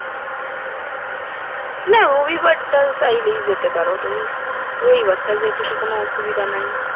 না রবিবারটা চাইলেই যেতে পারো তুমি রবিবারটা তো যেতে কোন অসুবিধা নাই।